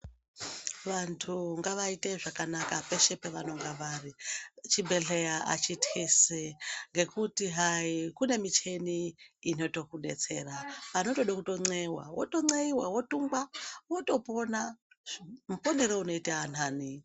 Wlvandu ngawaite zvakanaka peshe pewenenge wari, chibhedhleya achitisi ngekuti hai kune michini inoto kudetsera, panotoda kuton'eiwa woton'eiwa, wotungwa wotopona, muponere unoita nhani.